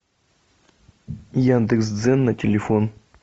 яндекс дзен на телефон